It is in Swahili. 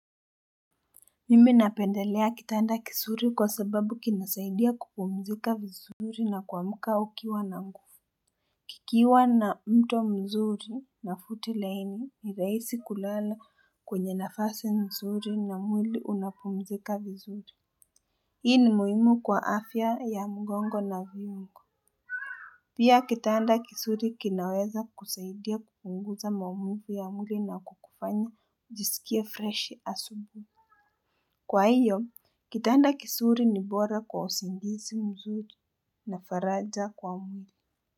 Mimi napendelea kitanda kisuri kwa sababu kinasaidia kupumzika vizuri na kuamka ukiwa na nguvu. Kikiwa na mto mzuri na futi laini ni raisi kulala kwenye nafasi nzuri na mwili unapumzika vizuri. Hii ni muhimu kwa afya ya mgongo na viungo. Pia kitanda kisuri kinaweza kusaidia kupunguza maumivu ya mwili na kukufanya jiskie freshi asubuhi. Kwa hiyo, kitanda kisuri ni bora kwa usingisi mzuri na faraja kwa mwili.